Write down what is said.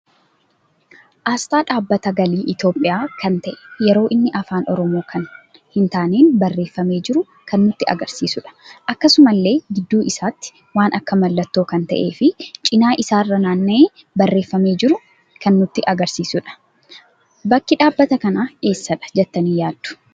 Asxaa dhaabbata galii Itiyoolhiyaa kan ta'e yeroo inni afaan oromoo kan hin taaneen barreeffame jiru kan nutti agarsiisuudha. Akkasumallee gidduu isaati waan akka mallattoo kan ta'ee fi cina isaarra naanna'ee barreeffame jiru kan nutti agarsiisudha. Bakki dhabbata kana eessadha jettani yaaaddu?